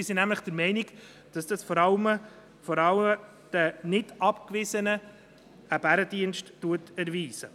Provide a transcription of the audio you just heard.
Wir sind nämlich der Meinung, dass das vor allem den NichtAbgewiesenen einen Bärendienst erweist.